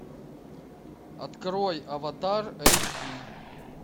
открой аватар эйч ди